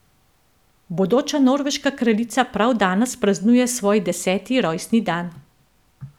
Bodoča norveška kraljica prav danes praznuje svoj deseti rojstni dan.